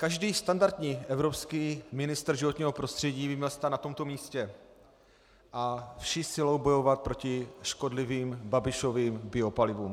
Každý standardní evropský ministr životního prostředí by měl stát na tomto místě a vší silou bojovat proti škodlivým Babišovým biopalivům.